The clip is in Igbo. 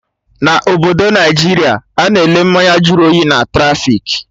Na obodo Naijiria, Ana ele mmanya jụrụ oyi na trafik